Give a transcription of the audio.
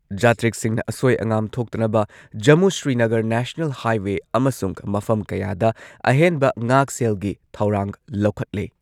ꯖꯥꯇ꯭ꯔꯤꯛꯁꯤꯡꯅ ꯑꯁꯣꯏ ꯑꯉꯥꯝ ꯊꯣꯛꯇꯅꯕ ꯖꯃꯨ ꯁ꯭ꯔꯤꯅꯒꯔ ꯅꯦꯁꯅꯦꯜ ꯍꯥꯏꯋꯦ ꯑꯃꯁꯨꯡ ꯃꯐꯝ ꯀꯌꯥꯗ ꯑꯍꯦꯟꯕ ꯉꯥꯛꯁꯦꯜꯒꯤ ꯊꯧꯔꯥꯡ ꯂꯧꯈꯠꯂꯦ꯫